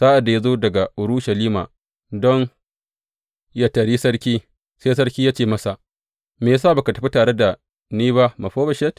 Sa’ad da ya zo daga Urushalima don yă taryi sarki, sai sarki ya ce masa, Me ya sa ba ka tafi tare da ni ba Mefiboshet?